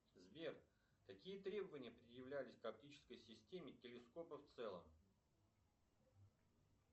сбер какие требования предъявлялись к оптической системе телескопа в целом